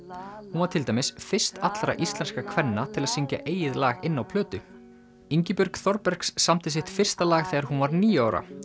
hún var til dæmis fyrst allra íslenskra kvenna til að syngja eigið lag inn á plötu Ingibjörg Þorbergs samdi sitt fyrsta lag þegar hún var níu ára